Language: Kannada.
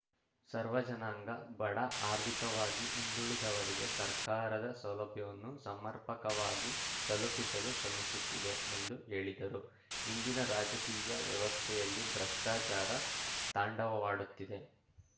ಸರ್ವ ಜನಾಂಗ ಬಡ ಆರ್ಥಿಕವಾಗಿ ಹಿಂದುಳಿದವರಿಗೆ ಸರ್ಕಾರದ ಸೌಲಭ್ಯವನ್ನು ಸಮರ್ಪಕವಾಗಿ ತಲುಪಿಸಲು ಶ್ರಮಿಸುತ್ತಿದೆ ಎಂದು ಹೇಳಿದರು ಇಂದಿನ ರಾಜಕೀಯ ವ್ಯವಸ್ಥೆಯಲ್ಲಿ ಭ್ರಷ್ಟಾಚಾರ ತಾಂಡವವಾಡುತ್ತಿದೆ